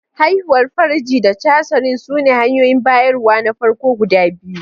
Haihuwar farji da cesarean sune hanyoyin bayarwa na farko guda biyu.